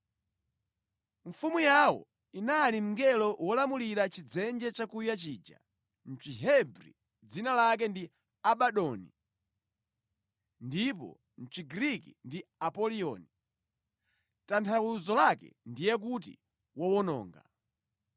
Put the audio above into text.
Mfumu yawo inali mngelo wolamulira Chidzenje chakuya chija. Mʼchihebri dzina lake ndi Abadoni ndipo mʼChigriki ndi Apoliyoni (tanthauzo lake ndiye kuti, Wowononga).